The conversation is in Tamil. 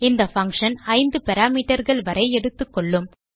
இந்த பங்ஷன் 5 parameterகள் வரை எடுத்துக்கொள்ளும்